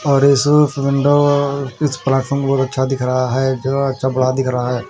और इस फ विंडो इस प्लेटफार्म पर बउत अच्छा दिख रहा हैं जो अच्छा बड़ा दिख रहा हैं।